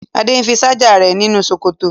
Adé fi ṣáájà rẹ̀ nínú sọ́kẹ́tì.